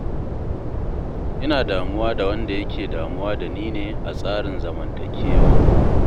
Ina damuwa da wanda yake damuwa ni ne a tsarin zamantakewata.